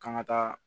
K'an ka taa